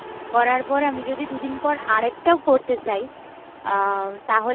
করার পর আমি যদি দুদিন পর আরেকটাও করতে চাই, আহ তাহলে,